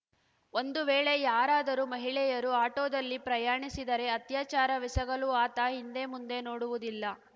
ಒಂದು ವೇಳೆ ಯಾರಾದರೂ ಮಹಿಳೆಯರು ಆಟೋದಲ್ಲಿ ಪ್ರಯಾಣಿಸಿದರೆ ಅತ್ಯಾಚಾರವೆಸಗಲೂ ಆತ ಹಿಂದೆ ಮುಂದೆ ನೋಡುವುದಿಲ್ಲ